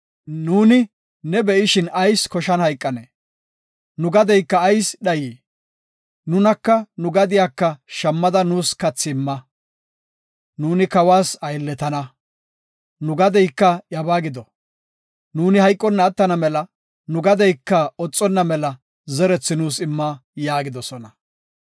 Nuuni ne be7ishin ayis koshan hayqanee? Nu gadeyka ayis dhayii? Nunaka nu gadiyaka shammada nuus kathi imma. Nuuni kawas aylletana, nu gadeyka iyabaa gido. Nuuni hayqonna attana mela nu gadeyka oxonna mela zerethi nuus imma” yaagidosona.